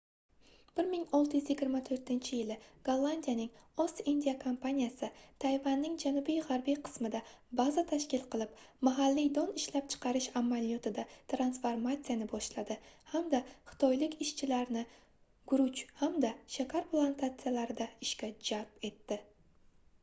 1624-yili gollandiyaning ost-indiya kompaniyasi tayvanning janubi-g'arbiy qismida baza tashkil qilib mahalliy don ishlab chiqarish amaliyotida transformatsiyani boshladi hamda xitoylik ishchilarni guruch hamda shakar plantatsiyalarida ishga jalb etdi